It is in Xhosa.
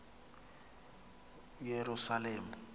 eyerusalem